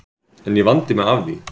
En ég vandi mig af því